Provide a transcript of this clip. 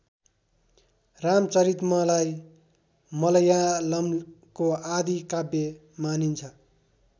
रामचरितमलाई मलयालमको आदि काव्य मानिन्छ